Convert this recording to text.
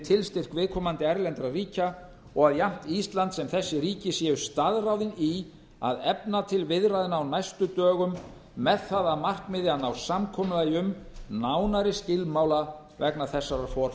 tilstyrk viðkomandi erlendra ríkja og jafnt ísland sem þessi ríki séu staðráðin í að efna til viðræðna á næstu dögum með það að markmiði að ná samkomulagi um nánari skilmála vegna þessarar